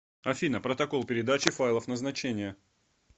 афина протокол передачи файлов назначение